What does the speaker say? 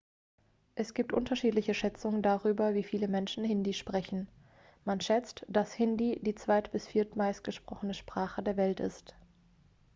es gibt unterschiedliche schätzungen darüber wie viele menschen hindi sprechen man schätzt dass hindi die zweit bis viertmeist gesprochene sprache der welt ist